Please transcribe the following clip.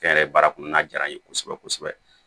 Fɛn yɛrɛ baara kɔnɔ n'a diyara n ye kosɛbɛ kosɛbɛ